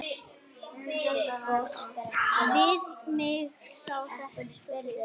Við mig sem þekki þig.